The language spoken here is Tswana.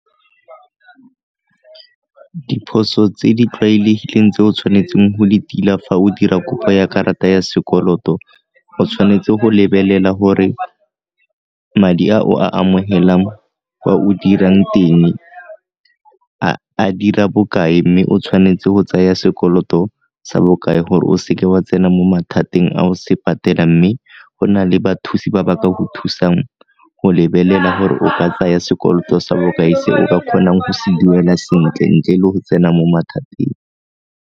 Diphoso tse di tlwaelegileng tse o tshwanetseng go di tila fa o dira kopo ya karata ya sekoloto o tshwanetse go lebelela gore madi a o a amogelang kwa o dirang teng a dira bokae, mme o tshwanetse go tsaya sekoloto sa bokae gore o seke wa tsena mo mathateng a o se patela mme go na le bathusi ba baka go thusang go lebelela gore o ka tsaya sekoloto sa bokae se o ka kgonang go se duela sentle-ntle le go tsena mo mathateng.